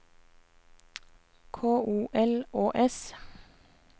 K O L Å S